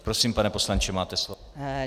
Prosím, pane poslanče, máte slovo.